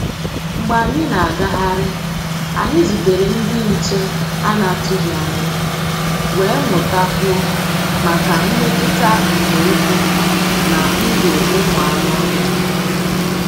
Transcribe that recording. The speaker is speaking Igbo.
Mgbé ànyị́ ná-àgáhárí, ànyị́ zútèré ndí nché à nà-àtụghí ányá, wéé mụ́tá kwúó máká mmétụ́tá nzọ́ ụ́kwụ́ ná ndụ́ ụ́mụ́ ànụ́-ọ́hịá.